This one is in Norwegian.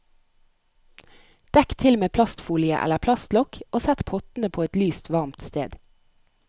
Dekk til med plastfolie eller plastlokk og sett pottene på et lyst, varmt sted.